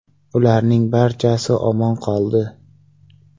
Ularning barchasi omon qoldi.